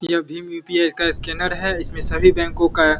ये भीम यू.पी.आई. का स्कैनर है इसमें सभी बैंको का --